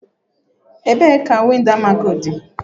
Ebee ka windo Almaco dị?